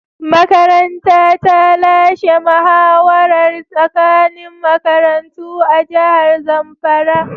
Makaranta ta lashe muhawarar tsakanin makarantu a jihar zamfara.